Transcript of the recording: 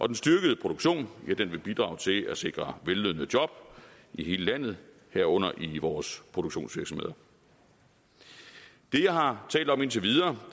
den styrkede produktion vil bidrage til at sikre vellønnede job i hele landet herunder i vores produktionsvirksomheder det jeg har talt om indtil videre